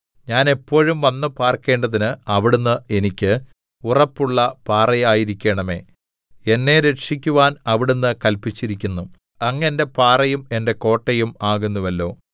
ഞാൻ എപ്പോഴും വന്ന് പാർക്കേണ്ടതിന് അവിടുന്ന് എനിക്ക് ഉറപ്പുള്ള പാറയായിരിക്കണമേ എന്നെ രക്ഷിക്കുവാൻ അവിടുന്ന് കല്പിച്ചിരിക്കുന്നു അങ്ങ് എന്റെ പാറയും എന്റെ കോട്ടയും ആകുന്നുവല്ലോ